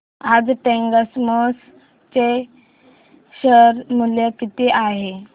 आज टेक्स्मोपाइप्स चे शेअर मूल्य किती आहे